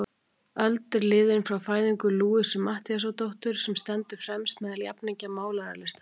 Öld er liðin frá fæðingu Louisu Matthíasdóttur, sem stendur fremst meðal jafningja málaralistarinnar.